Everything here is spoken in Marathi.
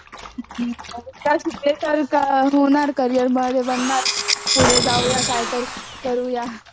होणार करीयर बनार पुढे जाऊया काय तर करूया